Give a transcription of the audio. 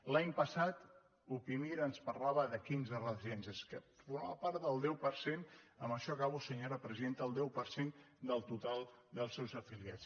l’any pas·sat upimir ens parlava de quinze residències que for·maven part del deu per cent amb això acabo senyora presidenta del total dels seus afiliats